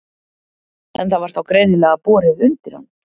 En það var þá greinilega borið undir hann?